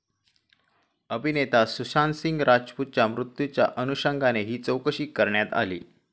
अभिनेता सुशांतसिंह राजपूतच्या मृत्यूच्या अनुषंगाने ही चौकशी करण्यात आली.